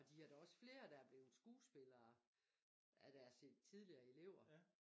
Og de har da også flere der er blevet skuespillere af deres tidligere elever